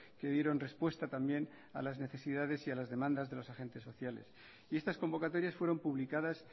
que dieron respuesta también a las necesidades y a las demandas de los agentes sociales y estas convocatorias fueron publicadas